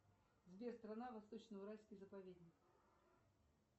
сбер страна восточно уральский заповедник